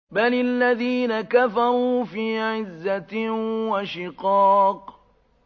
بَلِ الَّذِينَ كَفَرُوا فِي عِزَّةٍ وَشِقَاقٍ